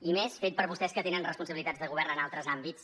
i més fet per vostès que tenen responsabilitats de govern en altres àmbits